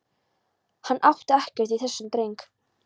Hann átti ekkert í þessum dreng.